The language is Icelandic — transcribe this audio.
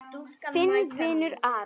Þinn vinur Aron.